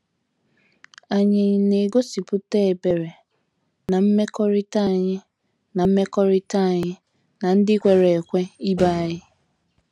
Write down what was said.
Ànyị na - egosipụta ebere ná mmekọrịta anyị ná mmekọrịta anyị na ndị kwere ekwe ibe anyị?